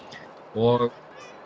og